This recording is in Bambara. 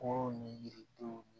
Ko ni yiridenw